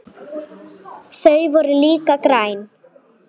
Þau voru líka græn.